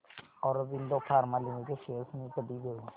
Aurobindo pharma limited shares मी कधी घेऊ